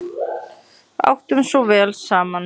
Áttum svo vel saman.